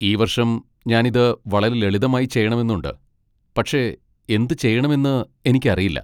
ഈ വർഷം ഞാൻ ഇത് വളരെ ലളിതമായി ചെയ്യണമെന്ന് ഉണ്ട്, പക്ഷേ എന്തുചെയ്യണമെന്ന് എനിക്കറിയില്ല.